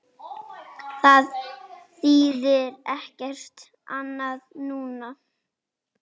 Það þýðir ekkert annað núna.